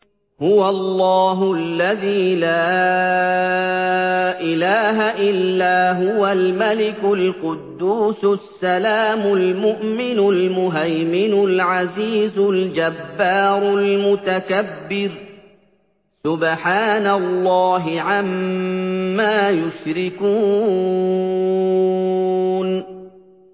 هُوَ اللَّهُ الَّذِي لَا إِلَٰهَ إِلَّا هُوَ الْمَلِكُ الْقُدُّوسُ السَّلَامُ الْمُؤْمِنُ الْمُهَيْمِنُ الْعَزِيزُ الْجَبَّارُ الْمُتَكَبِّرُ ۚ سُبْحَانَ اللَّهِ عَمَّا يُشْرِكُونَ